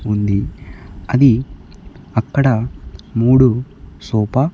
ఉంది అది అక్కడ మూడు సోపా .